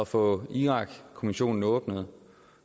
få irakkommissionen åbnet